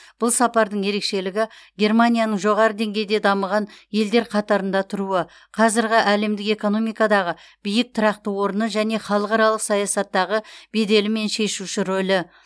бұл сапардың ерекшелігі германияның жоғары деңгейде дамыған елдер қатарында тұруы қазіргі әлемдік экономикадағы биік тұрақты орны және халықаралық саясаттағы беделі мен шешуші рөлі